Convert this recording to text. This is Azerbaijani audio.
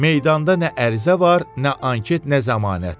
Meydanda nə ərizə var, nə anket, nə zəmanət.